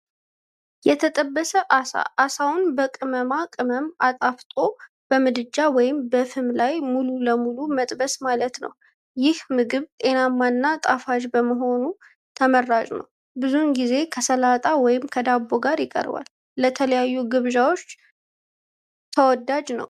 የተጠበሰ ዓሣ ዓሣውን በቅመማ ቅመም አጣፍጦ በምድጃ ወይም ፍም ላይ ሙሉ በሙሉ መጥበስ ማለት ነው። ይህ ምግብ ጤናማና ጣፋጭ በመሆኑ ተመራጭ ነው፤ ብዙ ጊዜም ከሰላጣ ወይም ከዳቦ ጋር ይቀርባል። ለተለያዩ ግብዣዎችም ተወዳጅ ነው።